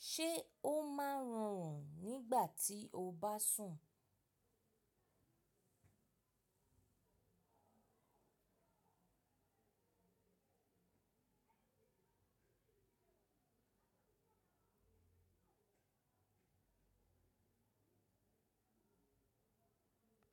Ṣé ó máa ń rùn-ún nígbà tí o bá sùn?